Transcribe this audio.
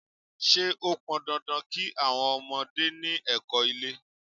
Ṣé ó pọn dandan kí àwọn ọmọdé ni ẹ̀kọ́-ilé?